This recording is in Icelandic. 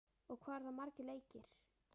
og hvað eru það margir leikir?